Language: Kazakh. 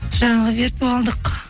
жаңағы виртуалдық